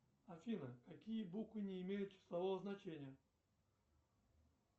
афина какие буквы не имеют числового значения